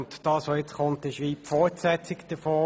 Dieses Geschäft ist wie die Fortsetzung davon.